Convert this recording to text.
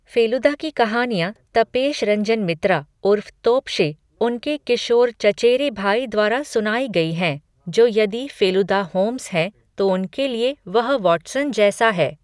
फ़ेलुदा की कहानियाँ तपेश रंजन मित्रा उर्फ तोप्शे, उनके किशोर चचेरे भाई द्वारा सुनाई गई हैं, जो यदि फ़ेलुदा होम्स हैं तो उनके लिए वह वाटसन जैसा है।